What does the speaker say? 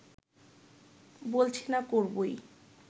বলছি না করবোই